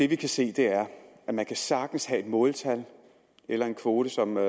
vi kan se er at man sagtens kan have et måltal eller en kvote som er